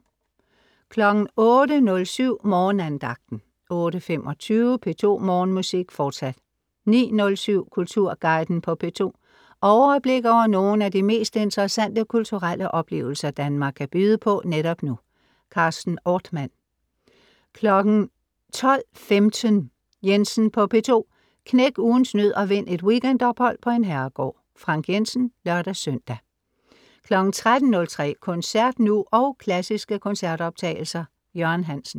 08.07 Morgenandagten 08.25 P2 Morgenmusik. Fortsat 09.07 Kulturguiden på P2. Overblik over nogle af de mest interessante kulturelle oplevelser, Danmark kan byde på netop nu. Carsten Ortmann 12.15 Jensen på P2. Knæk ugens nød og vind et weekendophold på en herregård. Frank Jensen (lør-søn) 13.03 Koncert nuog klassiske koncertoptagelser. Jørgen Hansen